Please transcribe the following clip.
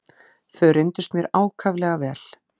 Þau reyndust mér ákaflega vel.